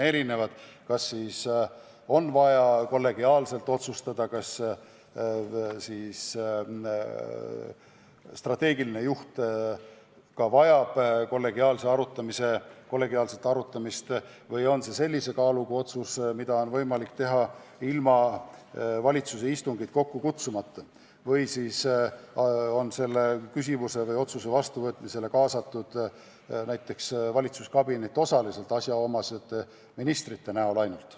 Vahel on vaja kollegiaalselt otsustada, vahel vajab strateegiline juht ka kollegiaalset arutamist, vahel on ehk vaja langetada sellise kaaluga otsus, mida on võimalik teha ilma valitsuse istungit kokku kutsumata või siis on kaasatud valitsuskabinet osaliselt asjaomaste ministrite näol.